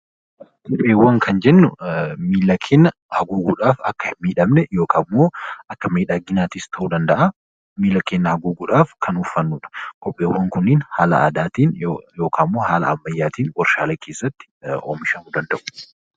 Kopheewwan kan jennu miila namaa haguugguudhaaf akka hin miidhamne akka miidhaginaattis ta'uu danda'a. Kopheewwan kunneen haala aadaatiin yookaan haala ammayyaatiin kan warshaalee keessatti oomishamuu danda'u.